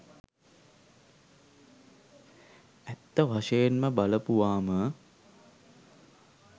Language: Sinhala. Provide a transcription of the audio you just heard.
ඇත්ත වශයෙන්ම බලපුවාම